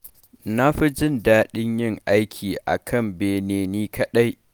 Na fi jin daɗin yin aiki a kan bene ni kaɗai.